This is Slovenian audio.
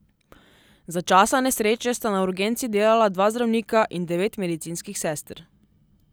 Za časa nesreče sta na urgenci delala dva zdravnika in devet medicinskih sester.